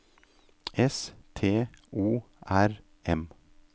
S T O R M